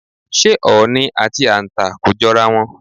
S̩é ò̩ò̩nì àti àǹtà kò jo̩ra wo̩n?